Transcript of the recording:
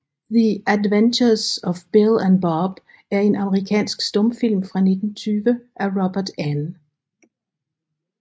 The Adventures of Bill and Bob er en amerikansk stumfilm fra 1920 af Robert N